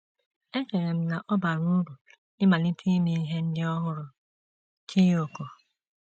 “ Echere m na ọ bara uru ịmalite ime ihe ndị ọhụrụ. ” Chiyoko